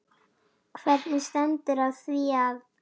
Hvernig stendur á því að